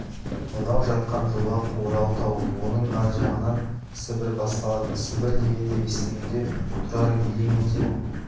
мынау жатқан жолақ орал тауы оның ар жағынан сібір басталады сібір дегенді естігенде тұрар елең ете